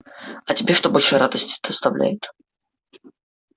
а тебе что больше радости доставляет